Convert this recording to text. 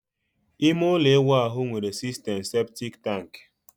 ime ụlọ ịwụ nwere sistem septic tank